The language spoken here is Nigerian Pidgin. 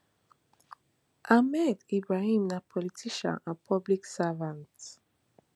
ahmed ibrahim na politician and public servant